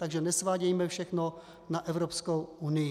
Takže nesvádějme všechno na Evropskou unii.